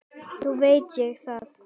Nú veit ég það.